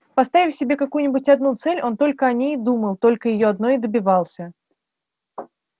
поставив себе какую-нибудь одну цель он только о ней и думал только её одной и добивался